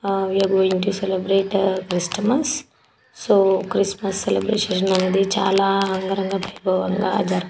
ఆ we are going to celebrate Christmas . So Christmas celebrations మనది చాలా అంగరంగ వైభవంగా జరుపు